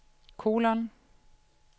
kolon